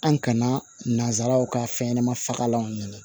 An kana nanzaraw ka fɛn ɲɛnɛma fagalanw ɲini